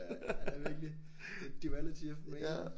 Ja virkelig. The duality of man